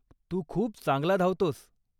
तू खूप चांगला धावतोस.